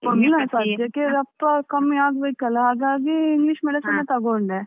ಇಲ್ಲ ಸದ್ಯಕ್ಕೆ ರಪ್ಪ ಕಮ್ಮಿ ಆಗಬೇಕಲ್ವಾ ಹಾಗಾಗಿ English medicine ಎ ತಕೊಂಡೆ.